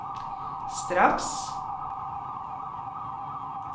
straks